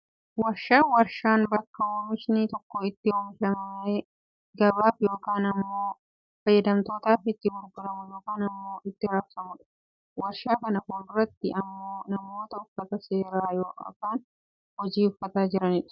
waarshaa, waarshaan bakka oomishni tokko itti oomishamee gabaa fi yookaan ammoo fayyadamtootaaf itti gurguramu yookaan ammoo itti rabsamudha. waarshaa kana fuulduratti ammoo namoota uffata seeraa yooaan hojii uffatanii jiran argina.